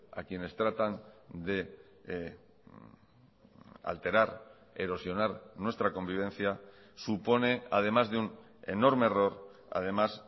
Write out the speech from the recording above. a quienes tratan de alterar erosionar nuestra convivencia supone además de un enorme error además